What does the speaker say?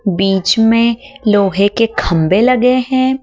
बीच में लोहे के खंभे लगे हैं।